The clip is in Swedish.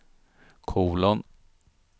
kolon